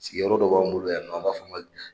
Sigiyɔrɔ dɔ b'an bolo yan nɔ an b'a fɔ o ma